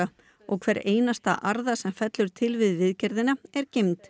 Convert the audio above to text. og hver einasta arða sem fellur til við viðgerðina er geymd